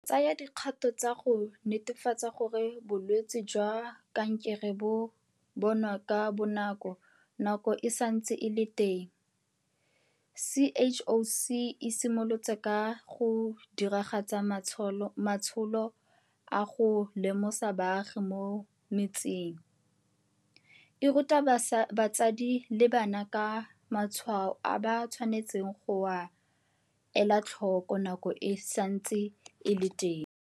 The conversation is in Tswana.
Go tsaya dikgato tsa go netefatsa gore bolwetse jwa kankere bo bonwa ka bonako nako e santse e le teng, CHOC e simolotse ka go diragatsa matsholo a go lemosa baagi mo metseng, e ruta batsadi le bana ka matshwao a ba tshwanetseng go a ela tlhoko nako e santse e le teng.